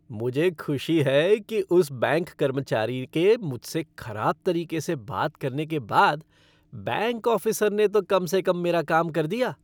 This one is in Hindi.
मुझे खुशी है कि उस बैंक कर्मचारी के मुझसे खराब तरीके से बात करने के बाद, बैंक ऑफ़िसर ने तो कम से कम मेरा काम कर दिया।